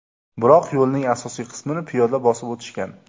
Biroq yo‘lning asosiy qismini piyoda bosib o‘tishgan.